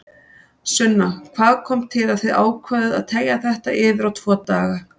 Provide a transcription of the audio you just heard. Sunna: Hvað kom til að þið ákváðuð að teygja þetta yfir á tvo daga?